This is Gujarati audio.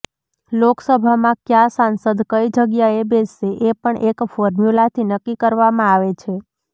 લોકસભામાં કયા સાંસદ કઈ જગ્યાએ બેસશે એ પણ એક ફોર્મ્યુલાથી નક્કી કરવામાં આવે છે